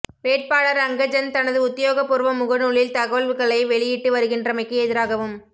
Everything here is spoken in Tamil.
வேட்பாளர் அங்கஜன் தனது உத்தியோகபூர்வ முகநூலில் தகவல்களை வெளியிட்டு வருகின்றமைக்கு எதிராகவும்